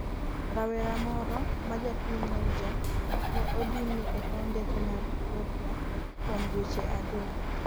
rawera moro majapiny Niger ne odinne e paw ndege mar Ethiopia kuom dweche adek